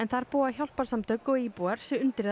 þar búa hjálparsamtök og íbúar sig undir það